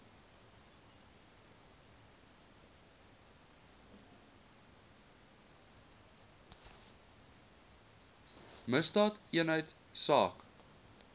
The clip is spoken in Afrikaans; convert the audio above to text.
misdaadeenheidsaak